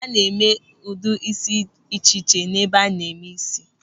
A na-eme ụdị ísí dị iche iche n'ebe a na-eme ísí.